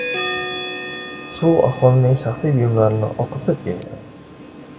Suv aholining shaxsiy buyumlarini oqizib kelgan.